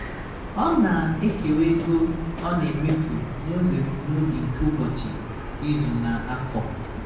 ọ na-ekewa ego ọ na-emefụ n'ụzọ ebumnobi nke ụbochị ịzu na-afọ